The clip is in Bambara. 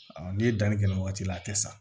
n'i ye danni kɛ o waati la a tɛ sa